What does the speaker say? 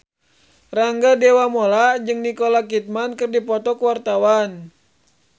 Rangga Dewamoela jeung Nicole Kidman keur dipoto ku wartawan